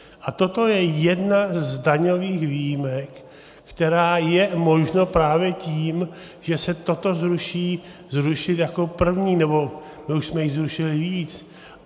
A toto je jedna z daňových výjimek, kterou je možno právě tím, že se toto zruší, zrušit jako první, nebo my už jsme jich zrušili víc.